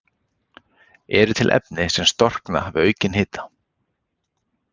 Eru til efni sem storkna við aukinn hita?